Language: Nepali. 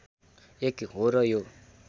एक हो र यो